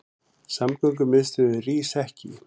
Samgöngumiðstöðin rís ekki